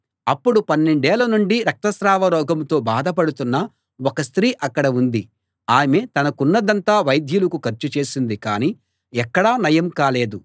అప్పుడు పన్నెండేళ్ళ నుండి రక్త స్రావ రోగంతో బాధ పడుతున్న ఒక స్త్రీ అక్కడ ఉంది ఆమె తనకున్నదంతా వైద్యులకు ఖర్చు చేసింది కానీ ఎక్కడా నయం కాలేదు